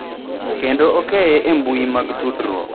kendo okeye e mbui mag tudruok.